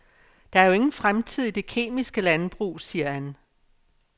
Der er jo ingen fremtid i det kemiske landbrug, siger han.